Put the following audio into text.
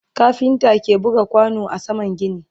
kafinta ke buga kwano a saman gini